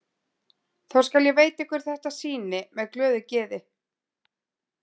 Þá skal ég veita ykkur þetta sýni með glöðu geði.